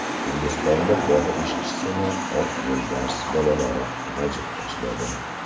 Hindistonda bog‘ ishchisini oq yo‘lbars bolalari g‘ajib tashladi.